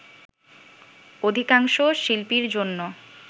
অধিকাংশ শিল্পীর জন্য